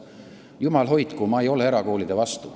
Jumal hoidku, ma ei ole erakoolide vastu.